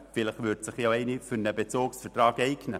vielleicht würde sich eine davon für einen Bezugsvertrag eignen.